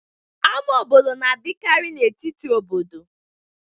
Ama obodo na-adakiri n'etiti obodo